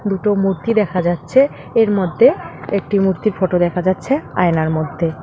দুটো মূর্তি দেখা যাচ্ছে এর মধ্যে একটি মূর্তির ফোটো দেখা যাচ্ছে আয়নার মধ্যে।